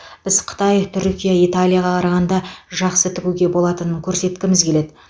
біз қытай түркия италияға қарағанда жақсы тігуге болатынын көрсеткіміз келеді